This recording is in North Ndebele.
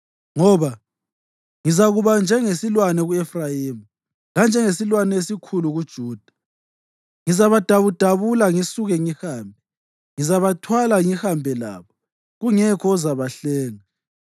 Ngoba ngizakuba njengesilwane ku-Efrayimi, lanjengesilwane esikhulu kuJuda. Ngizabadabudabula ngisuke ngihambe; ngizabathwala ngihambe labo, kungekho ozabahlenga.